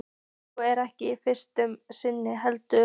Og ekki í fyrsta sinn heldur.